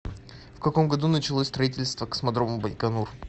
в каком году началось строительство космодрома байконур